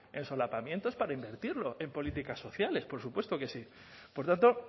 en solapamientos para invertirlo en políticas sociales por supuesto que sí por tanto